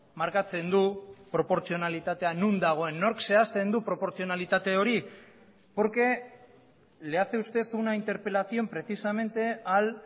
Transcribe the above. markatzen du proportzionalitatea non dagoen nork zehazten du proportzionalitate hori porque le hace usted una interpelación precisamente al